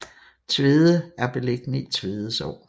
Tvede er beliggende i Tvede Sogn